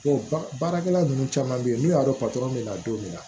baarakɛla ninnu caman bɛ yen n'u y'a dɔn bɛ na don min na